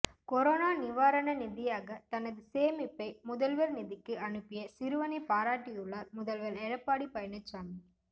corona நிவாரண நிதியாக தனது சேமிப்பை முதல்வர் நிதிக்கு அனுப்பிய சிறுவனை பாராட்டியுள்ளார் முதல்வர் எடப்பாடி பழனிசாமி